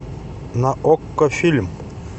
на окко фильм